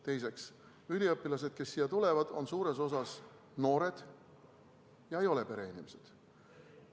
Teiseks, üliõpilased, kes siia tulevad, on suures osas noored ega ole pereinimesed.